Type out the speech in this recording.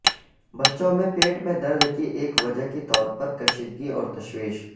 بچوں میں پیٹ میں درد کی ایک وجہ کے طور پر کشیدگی اور تشویش